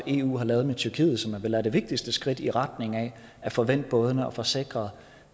eu har lavet med tyrkiet som vel er det vigtigste skridt i retning af at få vendt bådene og få sikret